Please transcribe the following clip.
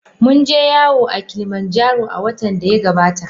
Mun je yawo a Kilimanjaro a watan da ya gabata.